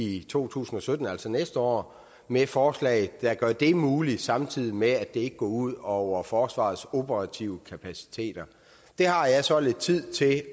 i to tusind og sytten altså næste år med et forslag der gør det muligt samtidig med at det ikke går ud over forsvarets operative kapaciteter det har jeg så lidt tid til